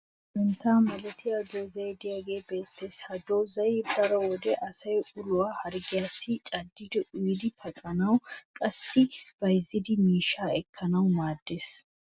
santta malattiya doozay diyaagee beettees. ha dozzay daro wode asay uluwaa harggiyaassi caddidi uyiddi paxxanawunne qassi bayzzidi miishshaa ekkanaassikka maadees.